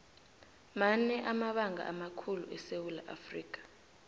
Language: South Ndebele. mmane amabanga amakhulu esewula afrika